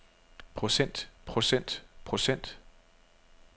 procent procent procent